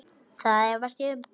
Það efast ég um.